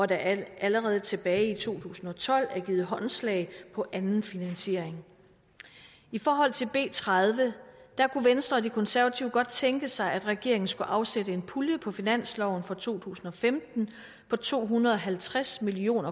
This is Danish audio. der allerede tilbage i to tusind og tolv blev givet håndslag på anden finansiering i forhold til b tredive kunne venstre og konservative godt tænke sig at regeringen skulle afsætte en pulje på finansloven for to tusind og femten på to hundrede og halvtreds million